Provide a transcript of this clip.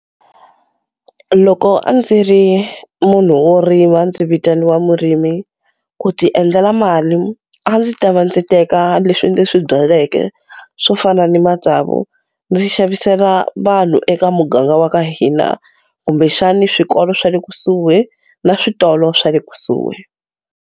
Loko a ndzi ri munhu wo rima ndzi vitaniwa murimi ku ti endlela mali a ndzi ta va ndzi teka leswi ndzi swi byaleke swo fana ni matsavu ndzi xavisela vanhu eka muganga wa ka hina kumbexani swikolo swa le kusuhi na switolo swa le kusuhi.